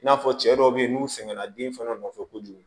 I n'a fɔ cɛ dɔw be yen n'u sɛgɛnna den fɛnɛ nɔfɛ kojugu